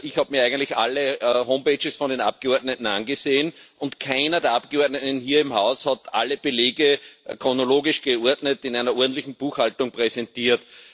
Ich habe mir eigentlich alle Homepages der Abgeordneten angesehen, und keiner der Abgeordneten hier im Haus hat alle Belege chronologisch geordnet in einer ordentlichen Buchhaltung präsentiert.